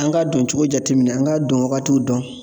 An ka don cogo jateminɛ, an k'a dɔn wagatiw dɔn.